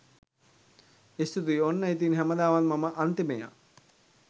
ස්තුතියි ඔන්න ඉතින් හැමදාමත් මම අන්තිමයා.